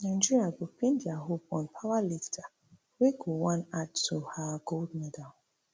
nigeria go pin dia hope on powerlifter wey go wan add to her gold medal